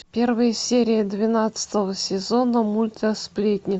первая серия двенадцатого сезона мульта сплетни